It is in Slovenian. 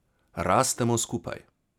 Rastemo skupaj.